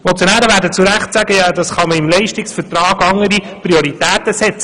Die Motionäre werden zu Recht sagen, man könne ja im Leistungsvertrag andere Prioritäten setzen.